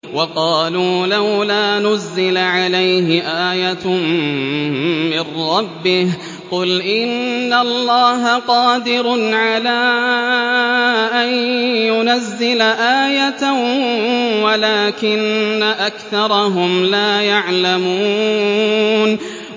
وَقَالُوا لَوْلَا نُزِّلَ عَلَيْهِ آيَةٌ مِّن رَّبِّهِ ۚ قُلْ إِنَّ اللَّهَ قَادِرٌ عَلَىٰ أَن يُنَزِّلَ آيَةً وَلَٰكِنَّ أَكْثَرَهُمْ لَا يَعْلَمُونَ